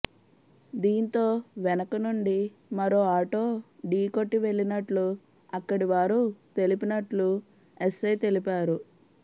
దీంతో వెనక నుండి మరో ఆటో ఢీ కొట్టి వెళ్ళినట్లు అక్కడి వారు తెలిపినట్లు ఎస్సై తెలిపారు